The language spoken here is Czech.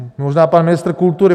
Možná pan ministr kultury.